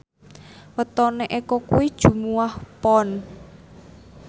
wetone Eko kuwi Jumuwah Pon